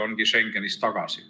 ongi Schengenis tagasi.